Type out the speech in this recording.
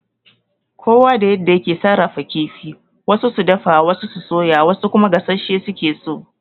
Kowa da yadda yake sarrafa kifi, wasu su dafa, wasu su soya, wasu kuma gassashe suke so.